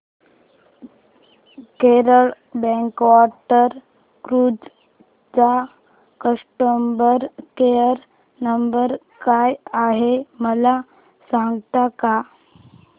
Kerala backwater cruise चा customer care number काय आहे मला सांगता का